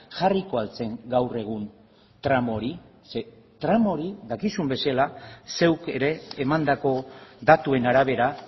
jarriko al zen gaur egun tramo hori ze tramo hori dakizun bezala zeuk ere emandako datuen arabera